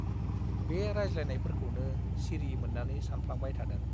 बे रायज्लायनायफोरखौनो सिरि मोन्नानै सानफ्लांबाय थादों।